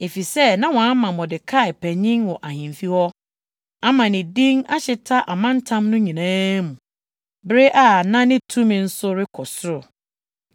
Efisɛ na wɔama Mordekai panyin wɔ ahemfi hɔ, ama ne din ahyeta amantam no nyinaa mu, bere a na ne tumi nso rekɔ soro.